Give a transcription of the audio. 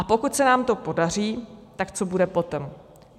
A pokud se nám to podaří, tak co bude potom.